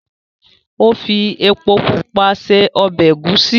o fí èpo pupa ṣe ọbẹ egusi.